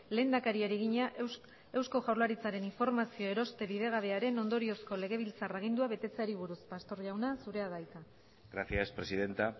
lehendakariari egina eusko jaurlaritzaren informazio eroste bidegabearen ondoriozko legebiltzar agindua betetzeari buruz pastor jauna zurea da hitza gracias presidenta